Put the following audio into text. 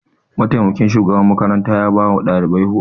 Mataimakin shugaban makarantar ya ba wa ɗalibai horo.